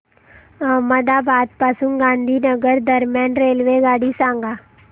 अहमदाबाद पासून गांधीनगर दरम्यान रेल्वेगाडी सांगा